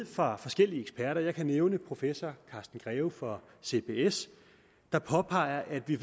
fra forskellige eksperter jeg kan nævne professor carsten greve fra cbs der påpeger at vi